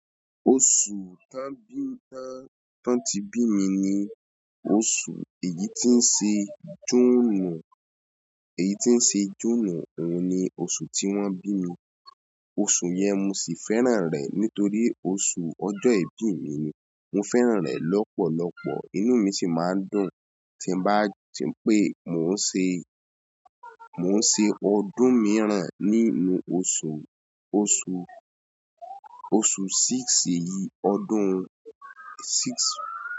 Oṣù tan bí mi tan, tán tí bí mi ni oṣù èyí tí ń ṣe júùnù, èyí tí ń ṣe júùnù òun ni oṣù tí wón bí mi. Oṣù yẹn mo sì fẹ́ràn rẹ̀ nítorí oṣù ọjọ́ ìbí mi ni. Mo fẹ́ràn rẹ̀ lọ́pọ̀lọpọ̀, inú mi sì máa ń dùn tí bá ti pé mò ń ṣe, mò ń ṣe ọdún mìíràn nínú oṣù, oṣù, oṣù six yìí, ọdún six.